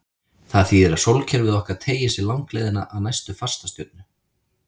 Það þýðir að sólkerfið okkar teygir sig langleiðina að næstu fastastjörnu.